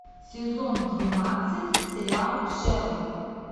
сезон двенадцать сериал шерлок